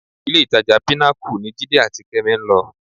Ilé-ìtajà Pinnacle ni Jídé àti Kẹ́mi ń lọ